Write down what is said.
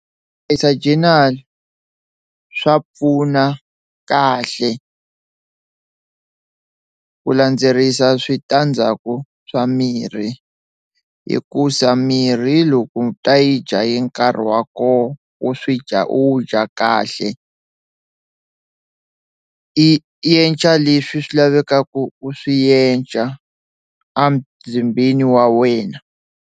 journal swa pfuna kahle ku landzelerisa switandzhaku swa mirhi hikusa mirhi loko u ta yi dya hi nkarhi wa kona wu swi dya u dya kahle i i enca leswi swi lavekaka u swi enca a mzimbeni wa wena.